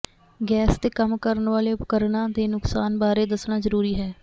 gas ਤੇ ਕੰਮ ਕਰਨ ਵਾਲੇ ਉਪਕਰਣਾਂ ਦੇ ਨੁਕਸਾਨ ਬਾਰੇ ਦੱਸਣਾ ਜ਼ਰੂਰੀ ਹੈ